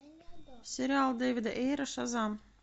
сериал дэвида эйра шазам